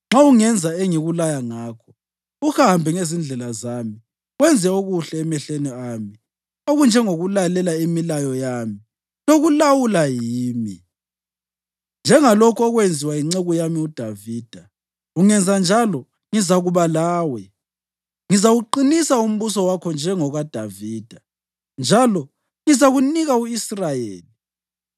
Nxa ungenza engikulaya ngakho uhambe ngezindlela zami wenze okuhle emehlweni ami okunjengokulalela imilayo yami lokulawulwa yimi, njengalokhu okwenziwa yinceku yami uDavida, ungenza njalo ngizakuba lawe. Ngizawuqinisa umbuso wakho njengokaDavida njalo ngizakunika u-Israyeli.